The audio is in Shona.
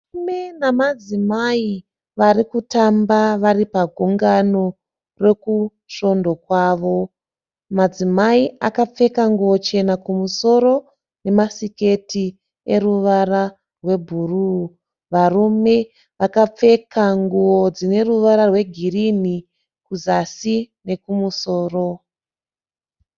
Varume nemadzimai vari kutamba vari pagungano rekusvondo kwavo. Madzimai akapfeka nguwo chena kumusoro nemasiketi eruvara rwebhuruu. Varume vakapfeka nguwo dzine ruvara rwegirinhi kuzasi nekumusoro.